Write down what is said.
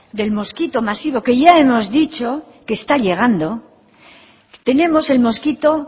del mosquito masivo que ya hemos dicho que está llegando tenemos el mosquito